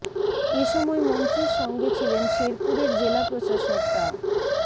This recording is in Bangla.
এ সময় মন্ত্রীর সঙ্গে ছিলেন শেরপুরের জেলা প্রশাসক ডা